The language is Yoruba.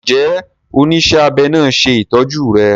Njé onísé abé náa ṣe ìtọjú rè?